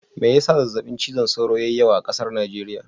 Mai ya sa zazzaɓin cizon sauro ya yi yawa a ƙasar Najeriya?